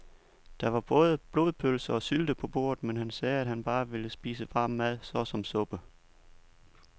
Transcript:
Der var både blodpølse og sylte på bordet, men han sagde, at han bare ville spise varm mad såsom suppe.